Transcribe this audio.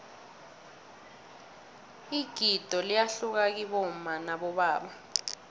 igido liyahluka kibomma nabobaba